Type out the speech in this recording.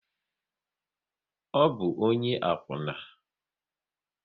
Ọ bụ ọnye akwuna?